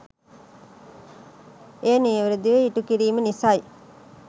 එය නිවැරදිව ඉටුකිරිම නිසයි